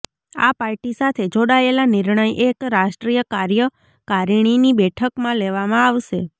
આ પાર્ટી સાથે જોડાયેલા નિર્ણય એક રાષ્ટ્રીય કાર્યકારિણીની બેઠકમાં લેવામાં આવશે